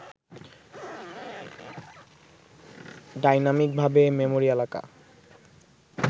ডাইনামিকভাবে memory এলাকা